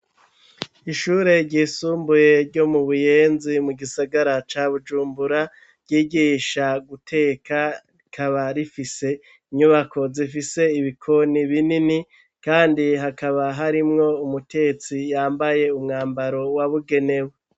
Ishure ryisumbuye ryo mu buyenzi mu gisagara ca bujumbura ryigisha guteka rikaba rifise inyubako zifise ibikoni binini kandi hakaba harimwo umutetsi yambaye umwambaro wabugenewe.